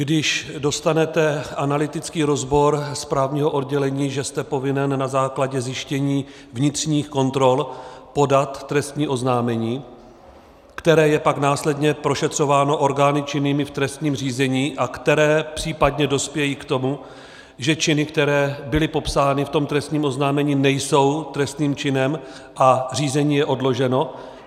Když dostanete analytický rozbor právního oddělení, že jste povinen na základě zjištění vnitřních kontrol podat trestní oznámení, které je pak následně prošetřováno orgány činnými v trestním řízení, a které případně dospějí k tomu, že činy, které byly popsány v tom trestním oznámení, nejsou trestným činem a řízení je odloženo?